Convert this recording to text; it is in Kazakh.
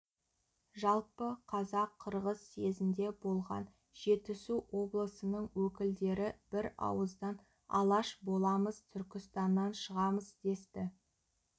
жалпы қазақ-қырғыз съезінде болған жетісу облысының өкілдері бірауыздан алаш боламыз түркістаннан шығамыз десті